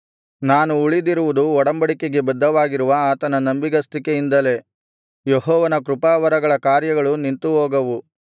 ನಾನು ಉಳಿದಿರುವುದು ಒಡಂಬಡಿಕೆಗೆ ಬದ್ಧವಾಗಿರುವ ಆತನ ನಂಬಿಗಸ್ತಿಕೆಯಿಂದಲೇ ಯೆಹೋವನ ಕೃಪಾವರಗಳ ಕಾರ್ಯಗಳು ನಿಂತುಹೋಗವು